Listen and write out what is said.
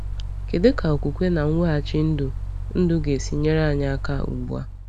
Kedu ka okwukwe na mweghachi ndụ ndụ ga-esi nyere anyị aka ugbu a?